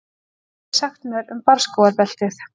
Hvað getið þið sagt mér um barrskógabeltið?